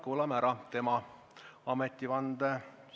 Kuulame ära tema ametivande.